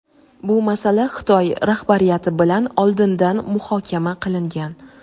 bu masala Xitoy rahbariyati bilan oldindan muhokama qilingan.